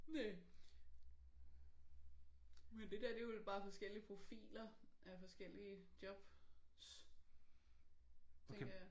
Næ. Men det der det er vel bare forskellige profiler af forskellige jobs tænker jeg